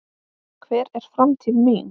Hver er framtíð mín?